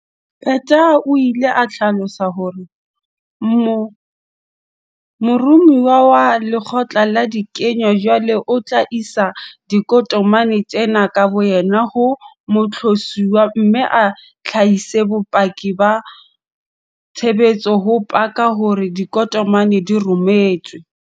Peta o ile a hlalosa hore mo romuwa wa lekgotla la dinyewe jwale o tla isa ditokomane tsena ka boyena ho moqosuwa mme a hlahise bopaki ba tshebetso ho paka hore ditokomane di rometswe.